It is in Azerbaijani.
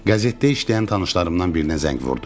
Qəzetdə işləyən tanışlarımdan birinə zəng vurdum.